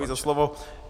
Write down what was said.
Děkuji za slovo.